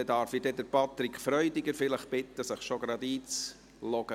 Dann darf ich vielleicht Patrick Freudiger bitten, sich schon gerade einzuloggen?